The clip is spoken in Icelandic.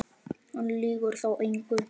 Hann lýgur þá engu.